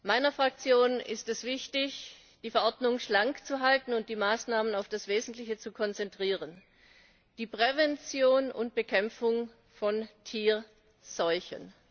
Meiner Fraktion ist es wichtig, die Verordnung schlank zu halten und die Maßnahmen auf das Wesentliche zu konzentrieren, nämlich die Prävention und Bekämpfung von Tierseuchen.